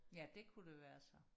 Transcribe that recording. ja det kunne det være så